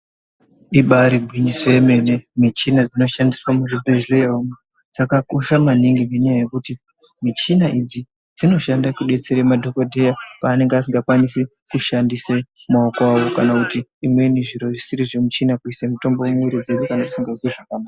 Ibari gwinyiso yemene muchina inoshandiswa muzvibhehlera umwu dzakakosha maningi ngenyaya yekuti michina idzi dzinoshanda kudetsera madhokodheya paanenge asingakwanisi kushandise maoko awo kana kuti imweni zviro zvisiri zvemuchina kuisa mitombo mumwiri dzedu kana dzisingazwi zvakanaka.